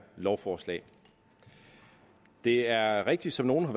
lovforslag det er rigtigt som nogle har